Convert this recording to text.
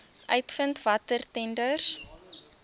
uitvind watter tenders